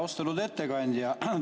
Austatud ettekandja!